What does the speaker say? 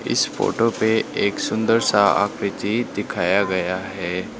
इस फोटो पे एक सुंदर सा आकृति दिखाया गया है।